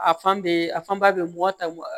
A fan bɛ a fanba bɛ mɔ ta